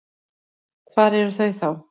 Hvar eru þau þá?